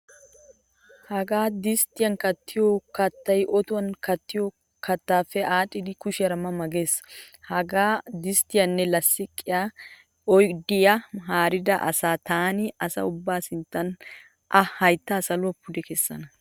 Hagaa disttiyan kattiyo kattay otuwan kattiyo kattaappe aaxxidi kushiyaara mama gees. Hagaa disttiyanne lasttiqe oydiya haarida asa taani asa ubbaa sinttan a hayttaa saluwa pude kessana.